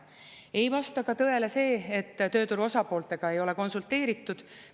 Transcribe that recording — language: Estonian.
Ei vasta ka tõele see, et tööturu osapooltega ei ole konsulteeritud.